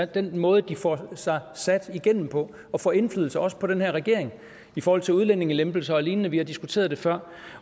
den måde de får sig sat sig igennem på og får indflydelse på også på den her regering i forhold til udlændingelempelser og lignende vi har diskuteret det før